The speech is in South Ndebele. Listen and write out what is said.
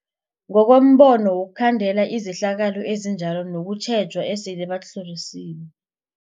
Ngokombono wokhandela izehlakalo ezinjalo kunokutjheja esele batlhorisiwe.